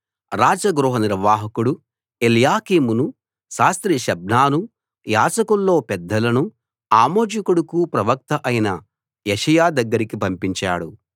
రాజ గృహ నిర్వాహకుడు ఎల్యాకీమును శాస్త్రి షెబ్నాను యాజకుల్లో పెద్దలను ఆమోజు కొడుకు ప్రవక్త అయిన యెషయా దగ్గరికి పంపించాడు